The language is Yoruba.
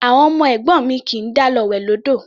Àwọn ọmọ ẹ̀gbọ́n mi kì í dá lọ wẹ̀ lódò.